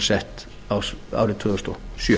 sett árið tvö þúsund og sjö